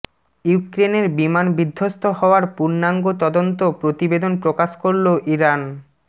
ইউক্রেনের বিমান বিধ্বস্ত হওয়ার পূর্ণাঙ্গ তদন্ত প্রতিবেদন প্রকাশ করল ইরান